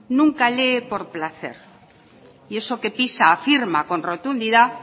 nunca lee por placer y eso que pisa afirma con rotundidad